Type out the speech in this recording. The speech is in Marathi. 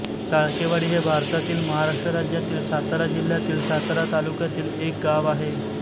चाळकेवाडी हे भारतातील महाराष्ट्र राज्यातील सातारा जिल्ह्यातील सातारा तालुक्यातील एक गाव आहे